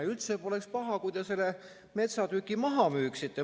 Ja üldse poleks paha, kui te selle metsatüki maha müüksite.